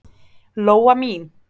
Lóa mín!